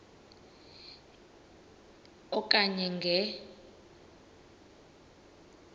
e okanye nge